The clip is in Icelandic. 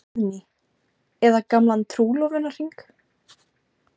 Guðný: Eða gamlan trúlofunarhring?